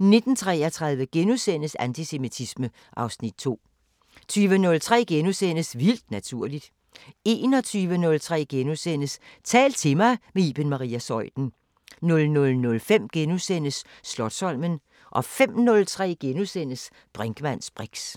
19:33: Antisemitisme (Afs. 2)* 20:03: Vildt naturligt * 21:03: Tal til mig – med Iben Maria Zeuthen * 00:05: Slotsholmen * 05:03: Brinkmanns briks *